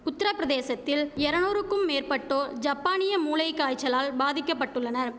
குத்திரபிரதேசத்தில் எரநூருக்கும் மேற்பட்டோ ஜப்பானிய மூளைகாய்ச்சலால் பாதிக்க பட்டுள்ளனர்